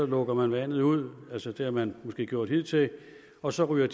lukker man vandet ud altså det har man måske gjort hidtil og så ryger